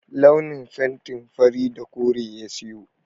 Launin fenti fari da kore ya sayo.